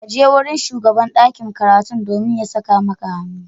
Kaje wurin shugaban ɗakin karatun domin ya saka maka hannu.